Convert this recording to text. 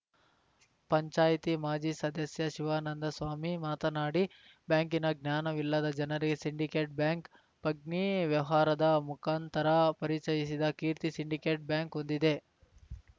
ಪಂಚಾಯ್ತಿ ಮಾಜಿ ಸದಸ್ಯ ಶಿವಾನಂದಸ್ವಾಮಿ ಮಾತನಾಡಿ ಬ್ಯಾಂಕಿನ ಜ್ಞಾನವಿಲ್ಲದ ಜನರಿಗೆ ಸಿಂಡಿಕೇಟ್‌ ಬ್ಯಾಂಕ್‌ ಪಗ್ನಿ ವ್ಯವಹಾರದ ಮುಂಖಾಂತರ ಪರಿಚಯಿಸಿದ ಕೀರ್ತಿ ಸಿಂಡಿಕೇಟ್‌ ಬ್ಯಾಂಕ್‌ ಹೊಂದಿದೆ